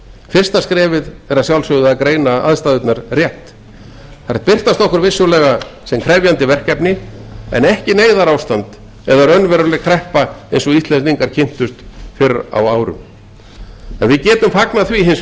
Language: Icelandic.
fyrsta skrefið er að greina aðstæður rétt þær birtast okkur vissulega sem krefjandi verkefni en ekki neyðarástand eða raunveruleg kreppa eins og íslendingar kynntust fyrr á árum við getum hins vegar fagnað